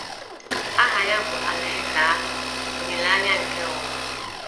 Aha ya bụ Alaeze Ahụ, Olileanya nke Ụwa.